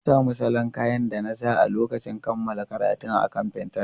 Na sami salon kayan da na sa a lokacin kammala karatuna akan Pinterest.